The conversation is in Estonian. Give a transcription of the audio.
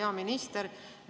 Hea minister!